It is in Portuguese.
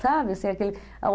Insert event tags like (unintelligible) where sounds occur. Sabe? (unintelligible)